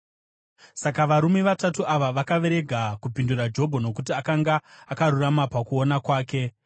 Saka varume vatatu ava vakarega kupindura Jobho, nokuti akanga akarurama pakuona kwake.